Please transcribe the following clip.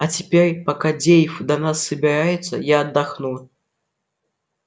а теперь пока дейв до нас добирается я отдохну